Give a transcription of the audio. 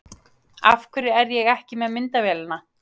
Af hverju er ég ekki með myndavélina?